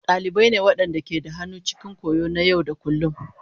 Dalibai ne waɗanda ke da hannu cikin koyo na yau da kullun.